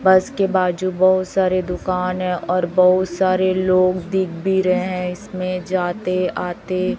बस के बाजू बहुत सारे दुकान है और बहुत सारे लोग दिख भी रहे हैं इसमें जाते आते--